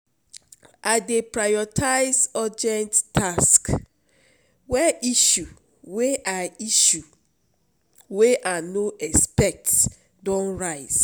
I dey prioritize urgent tasks wen issue wey I issue wey I no expect don rise.